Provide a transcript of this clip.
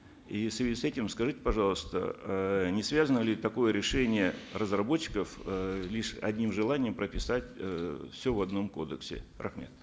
и в связи с этим скажите пожалуйста э не связано ли такое решение разработчиков э лишь одним желанием прописать эээ все в одном кодексе рахмет